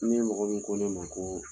Ni mɔgɔ min ko ne ma ko